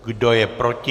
Kdo je proti?